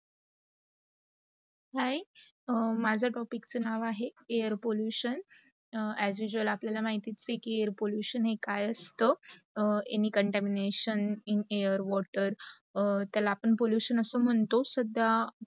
hi माझा topic चा नव आहे, air pollution as usual आपल्याला माहित आहे की air pollution काय असत, any contamination in air, water त्याला आपण pollution अस म्हतात